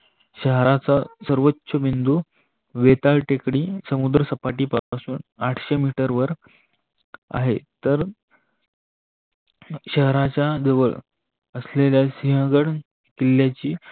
शहराचा सर्वोच बिन्दू वेताळ टेकडी समुद्रसपाटी पासुन आठशे मिटर वर आहे. तर शहराच्या जवळ असलेल्या सिंहगड किल्याची